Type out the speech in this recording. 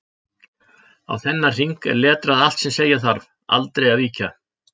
Á þennan hring er letrað allt sem segja þarf: Aldrei að víkja!